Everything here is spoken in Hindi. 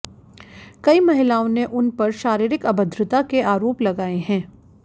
कई महिलाओं ने उन पर शारीरिक अभद्रता के आरोप लगाए हैं